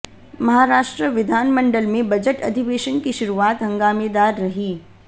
महाराष्ट्र विधानमंडल में बजट अधिवेशन की शुरुआत हंगामेदार रही